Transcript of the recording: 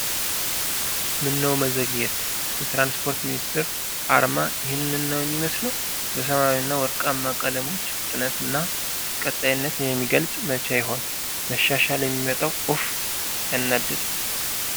ምነው መዘግየት! የትራንስፖርት ሚኒስቴር አርማ ይህንን ነው የሚመስለው! በሰማያዊና ወርቃማ ቀለሞች፣ ፍጥነትንና ቀጣይነትን የሚገልጽ! መቼ ይሆን መሻሻል የሚመጣው ኡፍ ሲያናድድ?